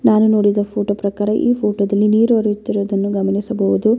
ಇದರಲ್ಲಿ ಲೈಟಿಂಗ್ಸ್ ಸಹಿತ ಬಿಡುತ್ತಾರೆ ಹಾಗೆ ಸೂರ್ಯನ ಕಿರಣಗಳನ್ನು ಗಮನಿಸಬಹುದು.